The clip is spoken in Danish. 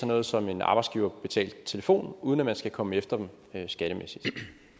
noget som en arbejdsgiverbetalt telefon uden at man skal komme efter dem skattemæssigt